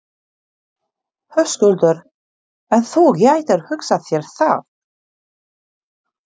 Höskuldur:. en þú gætir hugsað þér það?